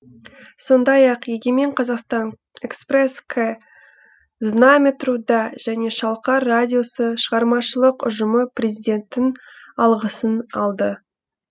сондай ақ егемен қазақстан экспресс к знамя труда және шалқар радиосы шығармашылық ұжымы президенттің алғысын алды